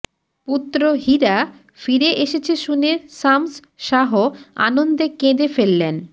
পুত্র হীরা ফিরে এসেছে শুনে শামস শাহ আনন্দে কেঁদে ফেললেন